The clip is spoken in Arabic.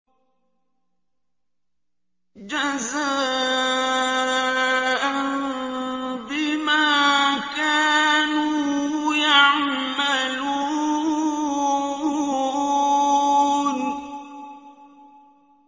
جَزَاءً بِمَا كَانُوا يَعْمَلُونَ